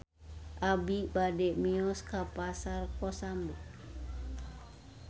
Abi bade mios ka Pasar Kosambi